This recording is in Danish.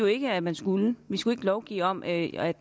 ikke at man skulle vi skulle ikke lovgive om at